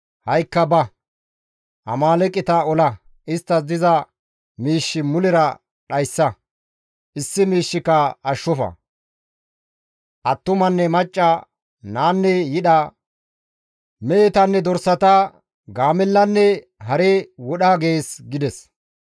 Ha7ikka ba; Amaaleeqeta ola! Isttas diza miish mulera dhayssa; issi miishshika ashshofa; attumanne macca, naanne yidha, mehetanne dorsata, gaamellanne hare wodha› gees» gides.